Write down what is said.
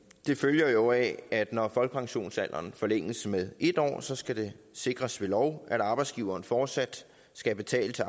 det følger jo af at når folkepensionsalderen forlænges med en år så skal det sikres ved lov at arbejdsgiveren fortsat skal betale til